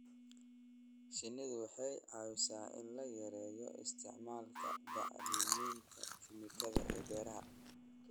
Shinnidu waxay caawisaa in la yareeyo isticmaalka bacriminta kiimikada ee beeraha.